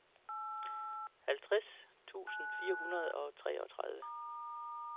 halvtreds tusind fire hundrede og treogtredive